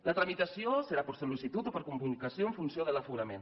la tramitació serà per sol·licitud o per comunicació en funció de l’aforament